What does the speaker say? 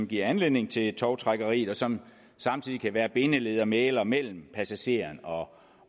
giver anledning til tovtrækkeriet og som samtidig kan være bindeled og mægler mellem passageren og